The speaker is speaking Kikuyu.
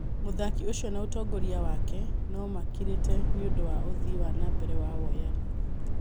Mũthaki ũcio na ũtongoria wake nomakirĩte nĩũndũ wa ũthii wa nambere wa woyani